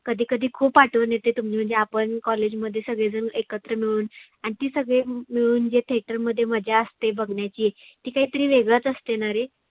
कधी कधी खुप आठवन येते तुम्ही म्हणजे आपण college मध्ये सगळे जन एकत्र मिळून आन ती सगळे मिळून जे theater मध्ये जे मजा असते बघण्याची ती काहितरी वेगळच असतेना रे.